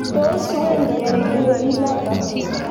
Tos wendi ano melinotok?